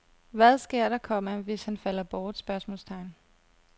Hvad sker der, komma hvis han falder bort? spørgsmålstegn